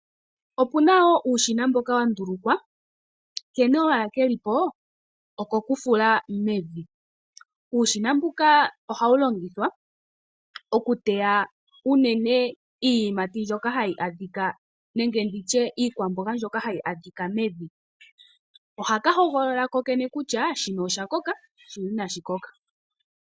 Opu na wo uushina mboka wa ndulukwa. Nkene owala ke li po okokufula owala mevi. Uushina mbuka ohawu longithwa okuteya unene iikwamboga mbyono hayi adhika mevi. Ohaka hogolola kokene kutya shino osha koka shino inashi koka.